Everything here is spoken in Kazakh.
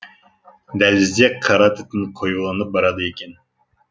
дәлізде қара түтін қоюланып барады екен